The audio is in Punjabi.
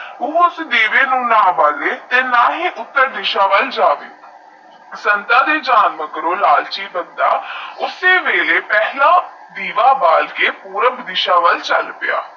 ਓਓਐੱਸਐੱਸ ਦਿਵੇ ਵਾਲ ਨਾ ਬੱਲੇ ਨਾ ਉੱਤਰ ਦੀਸਾ ਵਾਲ ਜਾਵੇ ਸੰਤਾ ਦੇ ਜਾਨ ਲਾਲਚੀ ਬੰਦਾ ਓਸੇ ਵੇਲਾ ਪਹਿਲਾ ਦੀਵਾ ਬਾਲ ਲ ਪੁਰਬ ਦੀਸਾ ਵਾਲ ਚਲ ਪਿਆ